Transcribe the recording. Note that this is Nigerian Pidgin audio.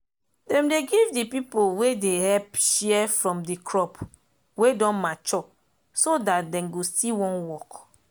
dem dey give de pipo wey dey help share from de crop wey don mature so dat dem go still wan work